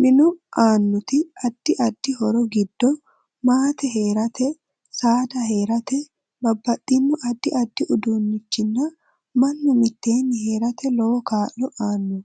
Minu aanoti addi addi horo giddo maate heerate, saada heerate babbaxino addi addi uduunichinna mannu miteeni heerate lowo kaalo aano